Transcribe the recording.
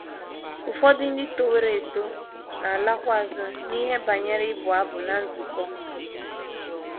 Ụfọdụ ndị toworo eto na - alakwa azụ n’ihe banyere ịbụ abụ ná nzukọ.